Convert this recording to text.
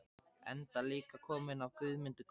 Enda líka kominn af Guðmundi góða.